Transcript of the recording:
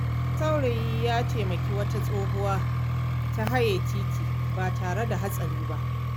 Wani saurayi ya taimaki wata tsohuwa ta haye titi ba tare da hatsari ba.